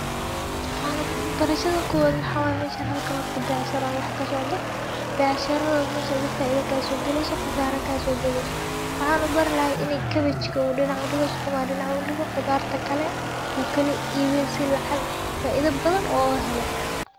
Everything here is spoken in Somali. Waxaana barashada koowaad waxaa waaye mesha halka wa biaasharo wax ka socdo, biaasharooda mesho faida ka soo geli soo, khasaar ka soo gali soo. Waxaanu bar lahayn inay cabbage uu dhinac u dhigo sukuma dhinaca u dhigo. quudaarta kale uu kali iibin sii lacag faa-iido badan oo u helo.